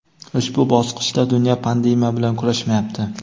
ushbu bosqichda dunyo pandemiya bilan kurashmayapti.